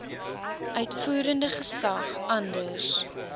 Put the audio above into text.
uitvoerende gesag anders